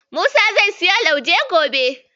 Musa zai siyo lauje gobe.